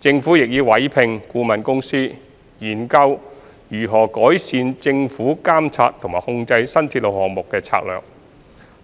政府亦已委託顧問公司研究如何改善政府監察和控制新鐵路項目的策略，